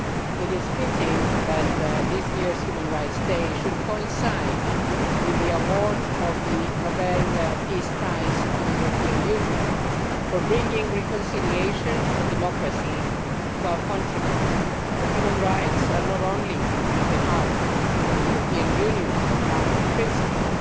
It is fitting that this year's Human Rights Day should coincide with the award of the Nobel Peace Prize to the European Union for bringing reconciliation and democracy to our continent. Human Rights are not only at the heart of the European Union's founding principles,